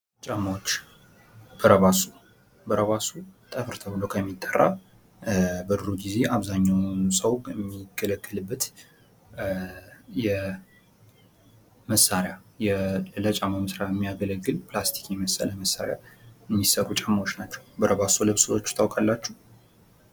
ጫማዎች ፦ በረባሶ ፦ በረባሶ ጠፍር ተብሎ ከሚጠራ በድሮ ግዜ አብዛኛው ሰው የሚገለገልበት የመሳሪያ ለጫማ መስሪያ የሚያገለግል ፕላስቲክ የመሰለ መሳሪያ የሚሰሩ ጫማዎች ናቸው ። በረባሶ ለብሳችሁ ታውቃላችሁ ?